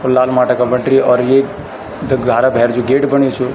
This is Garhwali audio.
लाल माटा का बटरी और ये जु घारो भैर जु गेट बण्यु च।